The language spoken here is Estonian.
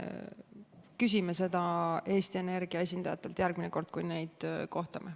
Küsime seda Eesti Energia esindajatelt, kui neid järgmine kord kohtame.